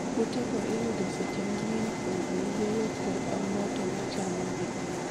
Kute go iyudo seche mang'eny kuom oyeyo kod omboto ma chamogi